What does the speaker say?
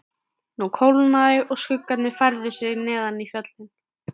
Nú kólnaði og skuggarnir færðu sig neðar í fjöllin.